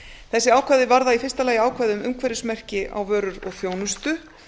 þessi ákvæði varða í fyrsta lagi ákvæði um umhverfismerki á vörur og þjónustu